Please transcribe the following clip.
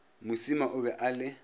mosima o be a le